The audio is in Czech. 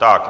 Tak.